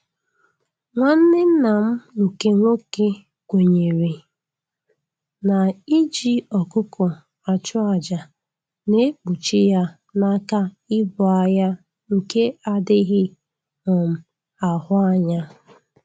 Nwanne nna m nke nwoke kwenyere na-iji ọkụkọ achụ aja na-ekpuchi ya n'aka ibu agha nke adịghị um ahụ anya